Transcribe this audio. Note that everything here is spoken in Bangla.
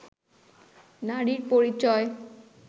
নারীর পরিচয়